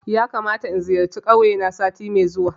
Yakamata in zayarci kauye na sati mai zuwa